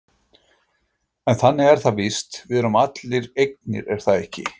En þannig er það víst, við erum allir eignir er það ekki?